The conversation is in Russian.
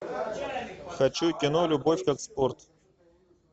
хочу кино любовь как спорт